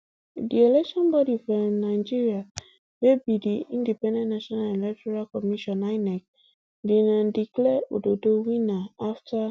di election bodi for um nigeria wey be di independent national electoral commission inec bin um declare ododo winner afta